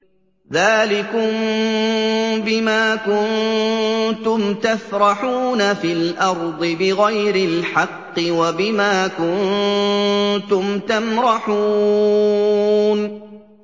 ذَٰلِكُم بِمَا كُنتُمْ تَفْرَحُونَ فِي الْأَرْضِ بِغَيْرِ الْحَقِّ وَبِمَا كُنتُمْ تَمْرَحُونَ